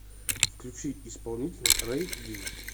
включи исполнителя рэй ди